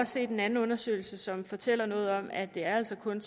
set en anden undersøgelse som fortæller noget om at det altså kun